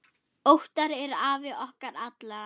Óttar er afi okkar allra.